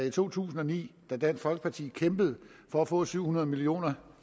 i to tusind og ni hvor dansk folkeparti kæmpede for at få syv hundrede million